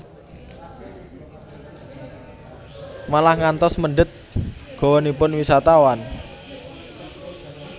Malah ngantos mendhet gawanipun wisatawan